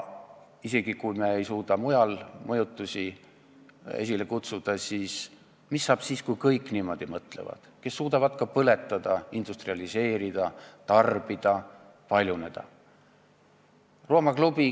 Isegi, kui me ei suuda mujal mõjutusi esile kutsuda, siis mis saab siis, kui niimoodi mõtlevad kõik, kes suudavad ka põletada, industrialiseerida, tarbida, paljuneda?